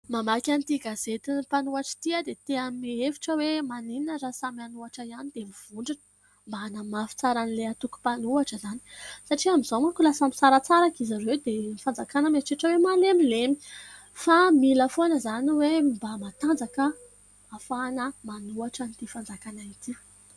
Mamaky an'ity gazety ny mpanohatr' ity dia te hanome hevitra hoe : "Maninona raha samy hanohatra ihany dia mivondrona mba hanamafy tsara an'ilay atoko mpanohatra izany satria amin'izao manko lasa misaratsaraka izy ireo dia ny fanjakana mieritreritra hoe malemilemy fa mila foana izany hoe mba matanjaka ahafahana manohatran'ity fanjakana ity."